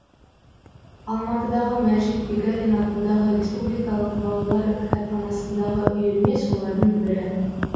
алматыдағы мәжит бегалин атындағы республикалық балалар кітапханасындағы үйірме солардың бірі